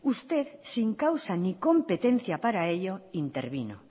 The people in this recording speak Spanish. usted sin causa ni competencia para ello intervino